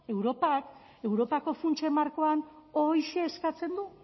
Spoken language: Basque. europak europako funtsen markoan horixe eskatzen du